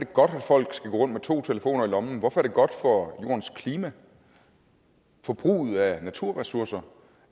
godt at folk skal gå rundt med to telefoner i lommen hvorfor er det godt for jordens klima og forbruget af naturressourcer